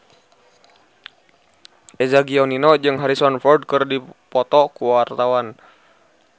Eza Gionino jeung Harrison Ford keur dipoto ku wartawan